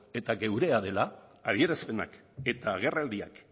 eta geurea dela adierazpenak eta agerraldiak